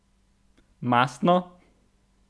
Mastno?